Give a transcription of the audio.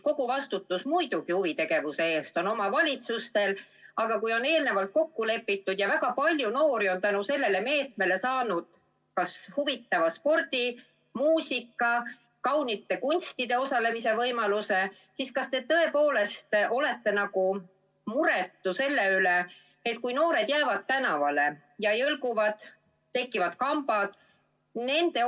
Kogu vastutus huvitegevuse eest on muidugi omavalitsustel, aga kui on eelnevalt kokku lepitud ja väga palju noori on tänu sellele meetmele saanud kas spordi‑, muusika‑ või kaunite kunstide tegevuses osalemise võimaluse, siis kas te tõepoolest olete muretu, kuigi noored jäävad tänavale, jõlguvad, tekivad kambad?